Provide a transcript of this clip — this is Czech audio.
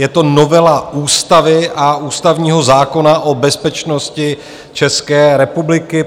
Je to novela ústavy a ústavního zákona o bezpečnosti České republiky.